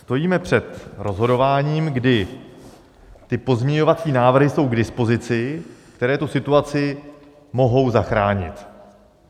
Stojíme před rozhodováním, kdy ty pozměňovací návrhy jsou k dispozici, které tu situaci mohou zachránit.